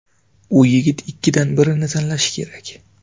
U yigit ikkidan birini tanlashi kerak.